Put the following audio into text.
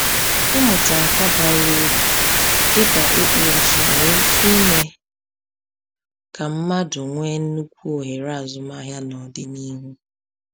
Ịmụta nka bara uru dịka ịkpụ ụzụ nwere ike ime ka mmadụ nwee nnukwu ohere azụmahịa n’ọdịnihu.